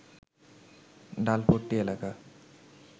ডালপট্রি এলাকা